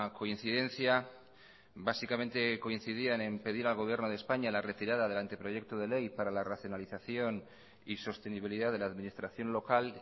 coincidencia básicamente coincidían en pedir al gobierno de españa la retirada del anteproyecto de ley para la racionalización y sostenibilidad de la administración local